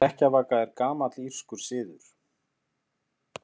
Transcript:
Hrekkjavaka er gamall írskur siður.